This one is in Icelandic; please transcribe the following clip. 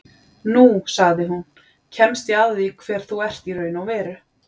Nú, sagði hún, kemst ég að því hver þú ert í raun og veru